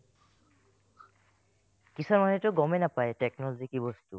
কিছুমানেটো গমে নাপাই technology কি বস্তু ?